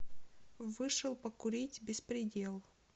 вышел покурить беспредел